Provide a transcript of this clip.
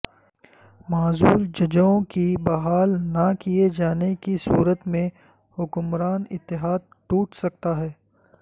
معزول ججوں کی بحال نہ کیے جانے کی صورت میں حکمران اتحاد ٹوٹ سکتا ہے